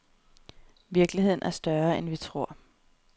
Virkeligheden er større, end vi tror.